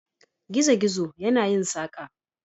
Gizo-gizo yana yin saƙa.